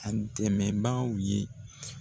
A dɛmɛbaw ye